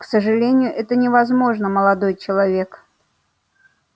к сожалению это невозможно молодой человек